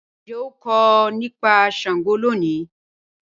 Njẹ a nkọ nipa Sango loni?